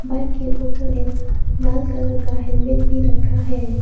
Bike के ऊपर एक लाल कलर का हेलमेट भी रखा है।